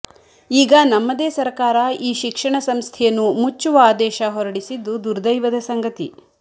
ಈಗ ನಮ್ಮದೇ ಸರಕಾರ ಈ ಶಿಕ್ಷಣ ಸಂಸ್ಥೆಯನ್ನು ಮುಚ್ಚುವ ಆದೇಶ ಹೊರಡಿಸಿದ್ದು ದುರ್ದೈವದ ಸಂಗತಿ